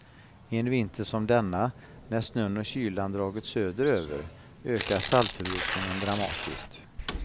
En vinter som denna, när snön och kylan dragit söderöver, ökar saltförbrukningen dramatiskt.